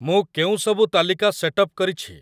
ମୁଁ କେଉଁସବୁ ତାଲିକା ସେଟ୍ ଅପ୍ କରିଛି ?